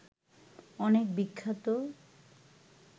অনেক বিখ্যাত